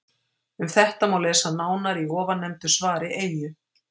Um þetta má lesa nánar í ofannefndu svari Eyju.